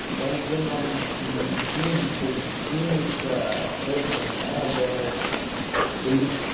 Então, prêmio Nobel de de Física, de Química, eles...